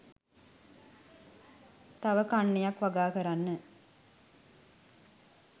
තව කන්නයක් වගා කරන්න